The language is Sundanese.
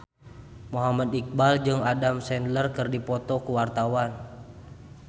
Muhammad Iqbal jeung Adam Sandler keur dipoto ku wartawan